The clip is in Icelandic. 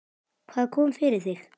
Hvað kom fyrir þig?